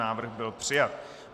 Návrh byl přijat.